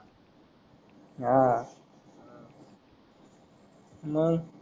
हा मंग